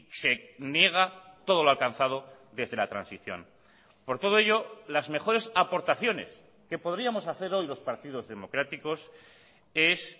se niega todo lo alcanzado desde la transición por todo ello las mejores aportaciones que podríamos hacer hoy los partidos democráticos es